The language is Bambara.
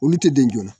Olu tɛ den joona